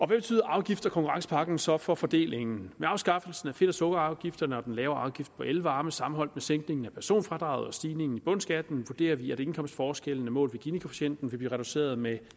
betyder afgifts og konkurrencepakken så for fordelingen med afskaffelsen af fedt og sukkerafgifterne og den lavere afgift på elvarme sammenholdt med sænkningen af personfradraget og stigningen i bundskatten vurderer vi at indkomstforskellene målt ved ginikoefficienten vil blive reduceret med